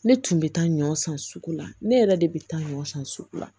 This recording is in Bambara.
Ne tun bɛ taa ɲɔ san sugu la ne yɛrɛ de bɛ taa ɲɔ san sugu la